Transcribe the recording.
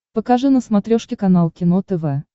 покажи на смотрешке канал кино тв